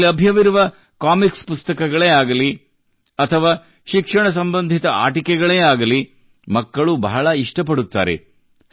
ಇಲ್ಲಿ ಲಭ್ಯವಿರುವ ಕಾಮಿಕ್ಸ್ ಪುಸ್ತಕಗಳೇ ಆಗಲಿ ಅಥವಾ ಶಿಕ್ಷಣ ಸಂಬಂಧಿತ ಆಟಿಕೆಗಳೇ ಆಗಲಿ ಮಕ್ಕಳು ಬಹಳ ಇಷ್ಟಪಡುತ್ತಾರೆ